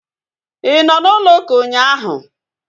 Ị nọ n'ụlọ ụka ụnyaahụ?